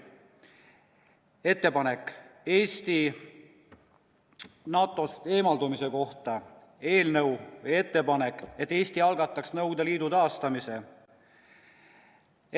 " Siis on ettepanek Eesti NATO-st eemaldumise kohta ja ettepanek, et Eesti algataks Nõukogude Liidu taastamise.